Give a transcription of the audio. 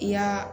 I y'a